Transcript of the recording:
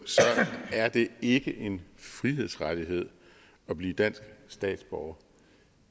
er det ikke en frihedsrettighed at blive dansk statsborger